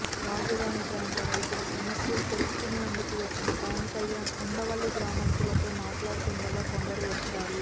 రాజధాని ప్రాంత రైతుల సమస్యలు తెలుసుకునేందుకు వచ్చిన పవన్ కళ్యాణ్ ఉండవల్లి గ్రామస్తులతో మాట్లాడుతుండగా కొందరు వచ్చారు